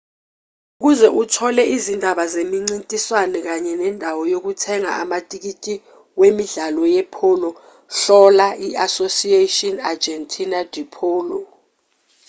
ukuze uthole izindaba zemincintiswano kanye nendawo yokuthenga amathikithi wemidlalo yepholo hlola i-asociacion argentina de polo